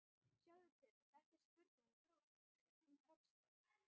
Sjáðu til, þetta er spurning um höggstað.